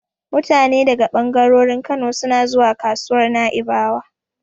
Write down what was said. Mutane daga ɓangarorin Kano suna suna zuwa kasuwar Na'ibawa.